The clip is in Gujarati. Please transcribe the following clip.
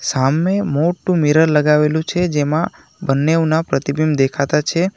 સામે મોટું મિરર લગાવેલું છે જેમાં બંને ઉના પ્રતિબિંબ દેખાતા છે.